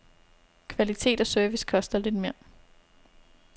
Kvalitet og service koster lidt mere.